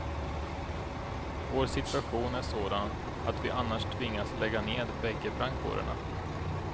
Vår situation är sådan att vi annars tvingas lägga ned bägge brandkårerna.